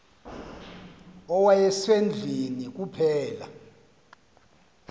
owaye sendlwini kuphela